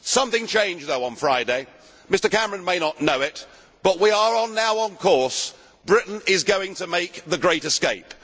Something changed though on Friday. Mr Cameron may not know it, but we are now on course Britain is going to make the great escape.